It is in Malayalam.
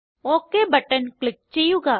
ഒക് ബട്ടൺ ക്ലിക്ക് ചെയ്യുക